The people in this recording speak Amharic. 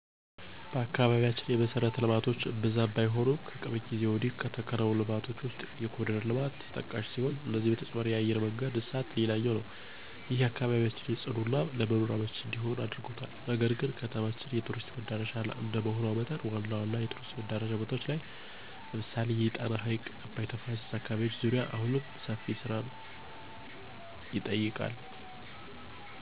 በአካባቢያችን የመሠረተ ልማቶች እምብዛም ባይሆኑም ከቅርብ ጊዜ ወዲህ ከተከናወኑ ልማቶች ውስጥ የኮርዲር ልማት ተጠቃሹ ሲሆን ከዚህ በተጨማሪ የአየር መንገድ እድሳት ሌላኛው ነው። ይህም አካባቢያችን ፅዱና ለመኖር አመቺ እንዲሆን አድርጎታል። ነገር ግን ከተማችን የቱሪስት መዳረሻ እንደመሆኗ መጠን ዋና ዋና የቱሪስት መዳረሻ ቦታዎች ላይ ለምሳሌ የጣና ሀይቅና አባይ ተፋሰስ አካባቢዎች ዙሪያ አሁንም ሰፊ ስራን ይጠይቃል።